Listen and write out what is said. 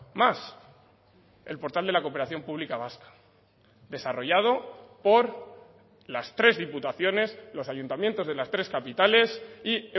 más el portal de la cooperación pública vasca desarrollado por las tres diputaciones los ayuntamientos de las tres capitales y